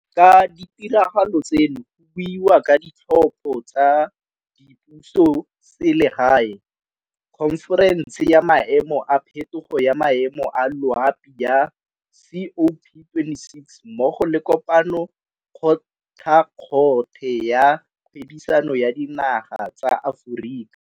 Ka ditiragalo tseno go buiwa ka Ditlhopho tsa Dipusoselegae, khonferense ya Maemo a Phetogo ya Maemo a Loapi ya COP26 mmogo le Kopano kgothakgothe ya Kgwebisano ya Dinaga tsa Aforika.